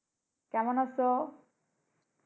কেমন আছো?